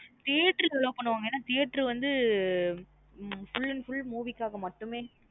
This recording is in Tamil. Theatre allow பண்ணுவாங்க என்ன theatre வந்து full and full movie காக மட்டுமே